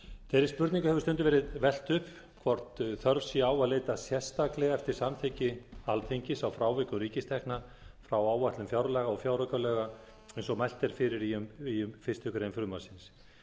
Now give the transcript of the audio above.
þeirri spurningu hefur stundum verið velt upp hvort þörf sé á að leita sérstaklega eftir samþykki alþingis á frávikum ríkistekna frá áætlun fjárlaga og fjáraukalaga eins og mælt er fyrir um í fyrstu grein frumvarpsins